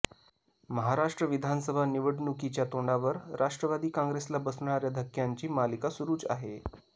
महाराष्ट्र विधानसभा निवडणुकीच्या तोंडावर राष्ट्रवादी काँग्रेसला बसणाऱ्या धक्क्यांची मालिका सुरुच आहे